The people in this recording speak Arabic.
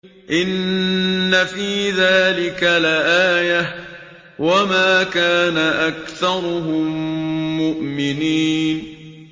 إِنَّ فِي ذَٰلِكَ لَآيَةً ۖ وَمَا كَانَ أَكْثَرُهُم مُّؤْمِنِينَ